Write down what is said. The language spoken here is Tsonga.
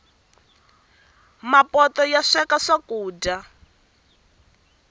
mapoto masweka swakuja